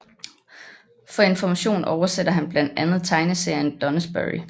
For Information oversætter han blandt andet tegneserien Doonesbury